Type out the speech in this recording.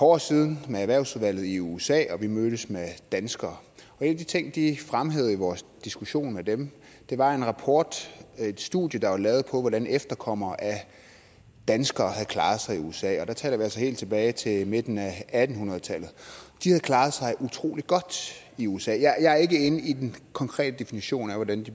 år siden med erhvervsudvalget i usa og vi mødtes med danskere en af de ting de fremhævede i vores diskussion med dem var en rapport et studie der var lavet over hvordan efterkommere af danskere havde klaret sig i usa og der taler vi altså helt tilbage til midten af atten hundrede tallet og de havde klaret sig utrolig godt i usa jeg er ikke inde i den konkrete definition af hvordan de